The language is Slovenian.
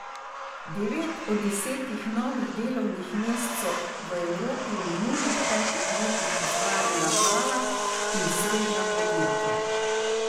Devet od desetih novih delovnih mest so v Evropi v minulih petih letih ustvarila mala in srednja podjetja.